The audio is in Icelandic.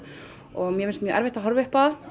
og mér finnst mjög erfitt að horfa upp á